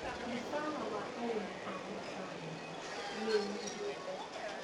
Mũcara wa arĩmi a macani nĩũnyihĩte